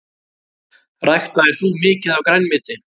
Ræktaðir þú mikið af grænmeti?